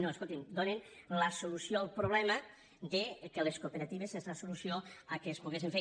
no escolti’m donen la solució al problema que les cooperatives és la solució perquè es poguessen fer